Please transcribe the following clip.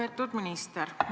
Lugupeetud minister!